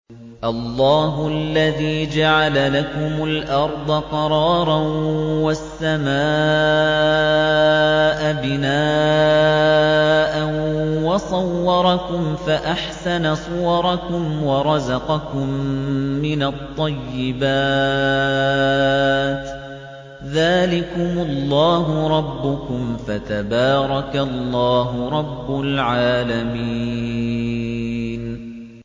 اللَّهُ الَّذِي جَعَلَ لَكُمُ الْأَرْضَ قَرَارًا وَالسَّمَاءَ بِنَاءً وَصَوَّرَكُمْ فَأَحْسَنَ صُوَرَكُمْ وَرَزَقَكُم مِّنَ الطَّيِّبَاتِ ۚ ذَٰلِكُمُ اللَّهُ رَبُّكُمْ ۖ فَتَبَارَكَ اللَّهُ رَبُّ الْعَالَمِينَ